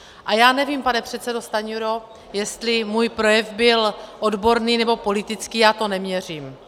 A já nevím, pane předsedo Stanjuro, jestli můj projev byl odborný, nebo politický, já to neměřím.